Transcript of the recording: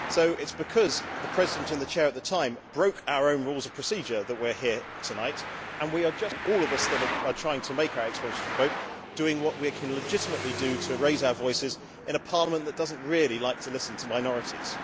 So it is because the President in the chair at the time broke our own Rules of Procedure that we are here tonight, and all of us that are trying to make our explanations of vote are doing what we can legitimately do to raise our voices in a Parliament that does not really like to listen to minorities.